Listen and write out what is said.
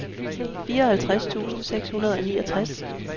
fireoghalvtreds tusind seks hundrede og niogtres